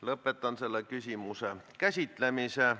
Lõpetan selle küsimuse käsitlemise.